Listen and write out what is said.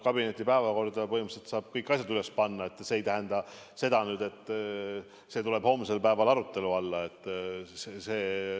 Kabineti päevakorda saab põhimõtteliselt kõiki asju panna, see ei tähenda, et need tulevad homsel päeval arutelu alla.